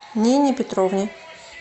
нине петровне